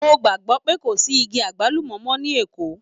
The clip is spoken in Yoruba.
Mo gbàgbọ́ pé kò sí igi àgbálùmọ́ mọ́ ní Èkó.